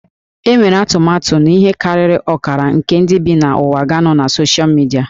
Enwere atụmatụ na ihe karịrị ọkara nke ndị bi n'ụwa ga-anọ na soshal midia